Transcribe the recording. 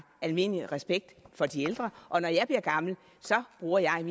almindelig respekt for de ældre og når jeg bliver gammel bruger jeg